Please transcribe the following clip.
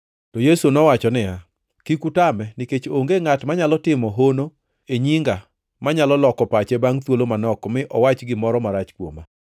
To Yesu nowacho niya, “Kik utame nikech onge ngʼat manyalo timo hono e nyinga manyalo loko pache bangʼ thuolo manok mi owach gimoro marach kuoma,